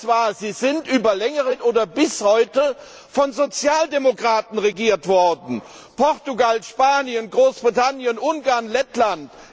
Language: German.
Egal wer es war, sie sind über längere Zeit oder bis heute von Sozialdemokraten regiert worden Portugal, Spanien, Großbritannien, Ungarn, Lettland.